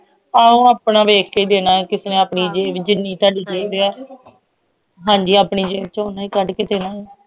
ਆਹੋ ਆਪਣਾ ਵੇਖ ਕੇ ਜੇ ਨਾ ਕਿਸੇ ਨਾਲ ਆਪਣੀ ਜਿੰਨੀ ਹਾਂਜੀ ਜਿਵੇਂ ਚਾਹੁਣੇ ਆ